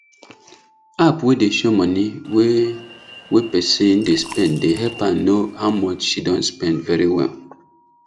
app wey dey show money wey wey person dey spend dey help her know how much she don spend very well